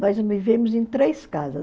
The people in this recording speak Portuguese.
Nós vivemos em três casas.